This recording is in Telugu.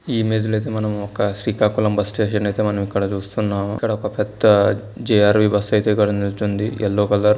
ఈ ఇమేజ్ లో ఐతే మనం ఒక శ్రీకాకుళం బస్ స్టేషన్ అయితే మనం ఇక్కడ చూస్తున్నాము. ఇక్కడ ఒక పెద్ద జె_ఆర్ _వి బస్ అయితే ఇక్కడ నిల్చొంది ఎల్లో కలర్ --